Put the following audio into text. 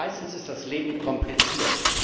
Meistens ist das Leben kompliziert.